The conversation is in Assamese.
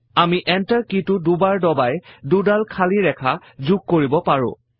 আমি Enter কি টো দুবাৰ দবাই দুডাল খালী ৰেখা যোগ কৰিব পাৰো